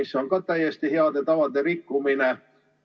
See on samuti heade tavade rikkumine.